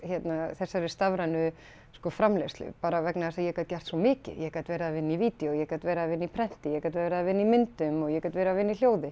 þessari stafrænu framleiðslu bara vegna þess að ég gat gert svo mikið ég gat verið að vinna í vídeó ég gat verið að vinna í prenti ég gat verið að vinna í myndum og ég gat verið að vinna í hljóði